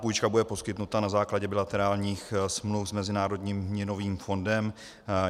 Půjčka bude poskytnuta na základě bilaterálních smluv s Mezinárodním měnovým fondem.